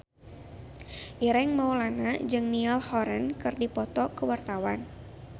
Ireng Maulana jeung Niall Horran keur dipoto ku wartawan